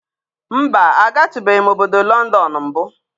Mba, agatụbeghị m obodo Lọndọnụ mbụ.